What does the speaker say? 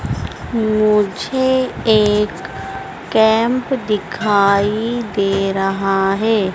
मुझे एक कैंप दिखाई दे रहा हैं।